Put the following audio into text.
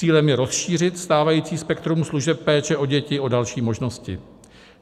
Cílem je rozšířit stávající spektrum služeb péče o děti o další možnosti.